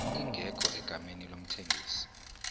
ingekho egameni lomthengisi